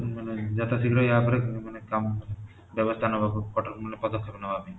ମାନେ ଯଥା ଶୀଘ୍ର ଏହା ଉପଟ ମାନେ କାମ ବ୍ୟବସ୍ଥା ନବାକୁ ମାନେ କଠୋର ପଦ୍ୟକ୍ଷେପ ନବା ପାଇଁ